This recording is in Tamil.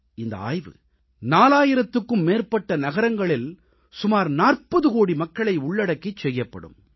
இந்த ஆய்வு 4000த்துக்கும் மேற்பட்ட நகரங்களில் சுமார் 40 கோடி மக்களை உள்ளடக்கிச் செய்யப்படும்